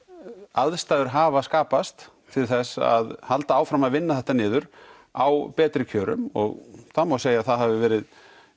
aðstæður hafa skapast til þess að halda áfram að vinna þetta niður á betri kjörum og það má segja að það hafi verið